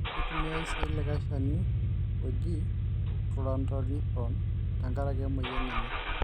Keitumiyai sii likae Shani oji Chlorantraniliprol te nkaraki aimoyian enye.